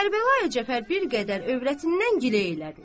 Kərbəlayı Cəfər bir qədər övrətindən giləylədi.